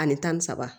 Ani tan ni saba